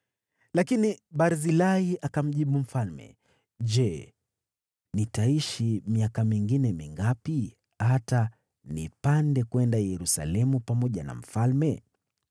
Lakini Barzilai akamjibu mfalme, “Je, nitaishi miaka mingine mingapi, hata nipande kwenda Yerusalemu pamoja na mfalme?